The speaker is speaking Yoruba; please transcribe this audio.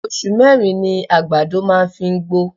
oṣù mẹ́rin ni àgbàdo máa ń fi ń gbó.